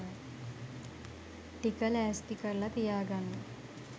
ටික ලෑස්ති කරල තියාගන්න.